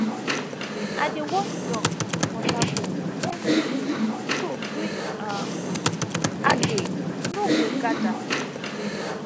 i dey wash duck water bowl everyday so green um algae no go gather